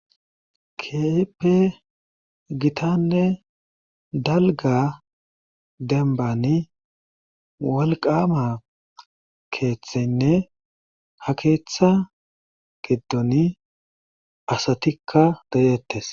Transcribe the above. Keehippe gitanne dalgga dembbaani wolqqaama keethrynne hakeetha giddoni asatikka de7eettes.